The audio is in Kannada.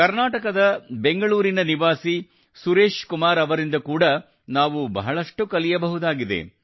ಕರ್ನಾಟಕದ ಬೆಂಗಳೂರಿನ ನಿವಾಸಿ ಸುರೇಶ್ ಕುಮಾರ್ ಅವರಿಂದ ಕೂಡಾ ನಾವು ಬಹಳಷ್ಟು ಕಲಿಯಬಹುದಾಗಿದೆ